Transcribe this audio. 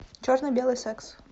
черно белый секс